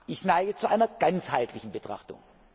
Sinn! Ich neige zu einer ganzheitlichen Betrachtung.